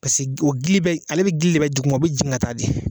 Pase o gili bɛ ale bɛ gili de bɛ duguma o bɛ jigin ka taa de.